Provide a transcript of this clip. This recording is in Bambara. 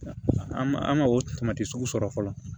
An ma an ma o tamati sugu sɔrɔ fɔlɔ